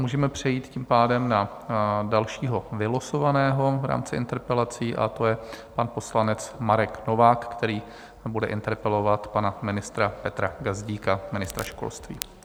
Můžeme přejít tím pádem na dalšího vylosovaného v rámci interpelací a to je pan poslanec Marek Novák, který bude interpelovat pana ministra Petra Gazdíka, ministra školství.